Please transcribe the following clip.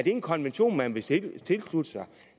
en konvention man vil tilslutte sig